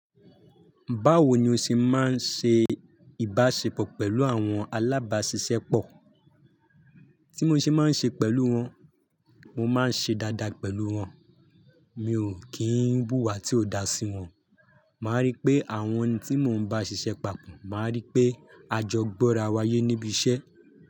Báwo ni o ṣe máa ń ṣe ìbáṣepọ̀ pẹ̀lú àwọn alábáṣiṣẹ́pọ̀? Tí mo ṣe máa ń ṣe pẹ̀lú wọn, mo máa ń ṣe dáadáa pẹ̀lú wọn. Mi ò kí ń búwá tí ò dáa sí wọn. Màá rí pé àwọn tí mò ń bá ṣiṣẹ́ papọ̀, màá rí pé a jọ gbọ́ra wáyé níbi iṣẹ́.